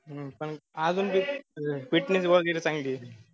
पन आजून fitness वगैरे चांगलीय